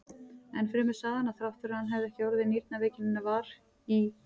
Enn fremur sagði hann, að þrátt fyrir að hann hefði ekki orðið nýrnaveikinnar var í